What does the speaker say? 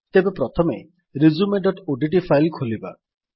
ତେବେ ପ୍ରଥମେ resumeଓଡିଟି ଫାଇଲ୍ ଖୋଲିବା